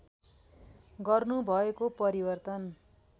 गर्नु भएको परिवर्तन